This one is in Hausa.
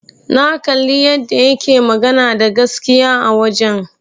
Na kalli yadda yake magana da gaskiya a wajen.